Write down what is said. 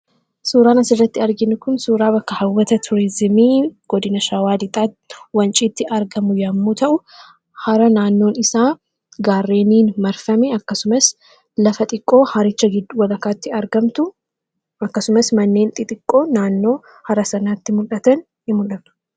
Suuraan asirratti arginu kun suuraa bakka hawwata tuurizimii godina Shawaa Lixaatti, Wanciitti argamu yommuu ta'u; hara naannoon isaa gaarreeniin marfame akkasumas lafa xiqqoo haricha walakkaatti argamtu akkasumas manneen xixiqqoo naannoo hara sanaatti mul'atan hin mul'atu.